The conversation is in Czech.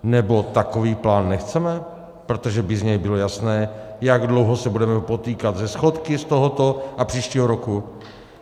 Nebo takový plán nechceme, protože by z něj bylo jasné, jak dlouho se budeme potýkat se schodky z tohoto a příštího roku?